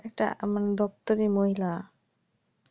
একটা মানে ডাক্তারি মহিলা